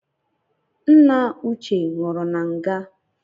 Nna uche nwụru na nga